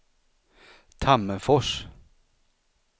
Tammerfors